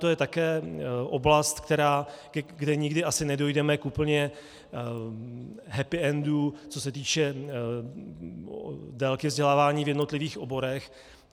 To je také oblast, kde nikdy asi nedojdeme k úplně happy endu, co se týče délky vzdělávání v jednotlivých oborech.